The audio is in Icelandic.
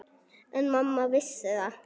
En mamma vissi það.